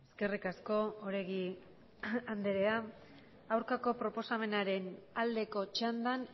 eskerrik asko oregi andrea aurkako proposamenaren aldeko txandan